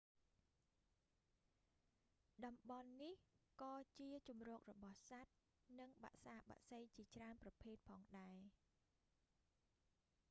តំបន់នេះក៏ជាជម្រករបស់សត្វ និងបក្សាបក្សីជាច្រើនប្រភេទផងដែរ